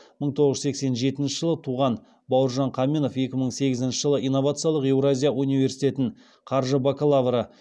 мың тоғыз жүз сексен жетінші жылы туған бауыржан қаменов екі мың сегізінші жылы инновациялық еуразия университетін қаржы бакалавры